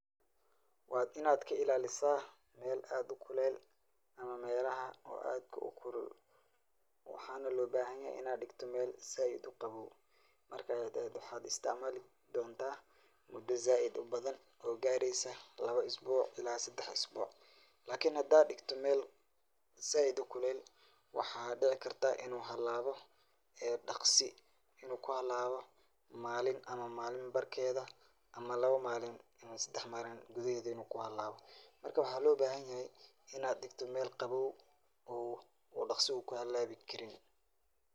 Waa inaad ka ilaalisa mel aad u kulel ama melaha oo aadka u kulul waxaana lo bahanyahy inaad dhigto mel zaiid u qabow marka aya waxaad isticmaali doonta mudo zaiid u badan oo gareysa laba isbuuc ila sadax isbuuc. Lakin hada dhigto mel zaiid u kulel waxaa dhici karta inu halaawo ee dhaqsi inu ku halawo malin ama malin barkeeda ama laba malin ama sadax malin gudaheeda inu ku halawo marka waxaa loo bahanyahy inaad dhigto mel qabow oo dhaqsi u ku halaawi karin.